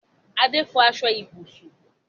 Adé n fọ aṣọ ibùsùn